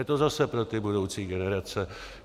Je to zase pro ty budoucí generace.